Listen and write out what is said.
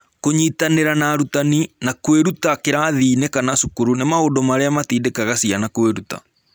Kũnyitanĩra na arutani, na kwĩrutĩra kĩrathi-inĩ kana cukuru, nĩ maũndũ marĩa matindĩkaga ciana kwĩruta.